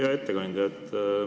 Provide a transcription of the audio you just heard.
Hea ettekandja!